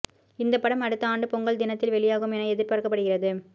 இந்த படம் அடுத்த ஆண்டு பொங்கல் தினத்தில் வெளியாகும் என எதிர்பார்க்கப்படுகிறது